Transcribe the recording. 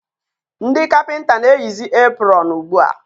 ndị kapịnta na-eyizi epụrọn ugbua.